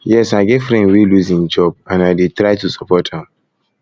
yes i get friend wey lose im job and i dey try to support am